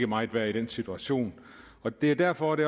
meget værd i den situation det er derfor det